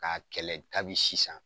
K'a kɛlɛ kabi sisan.